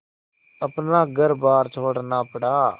अपना घरबार छोड़ना पड़ा